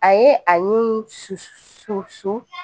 A ye a ni su su su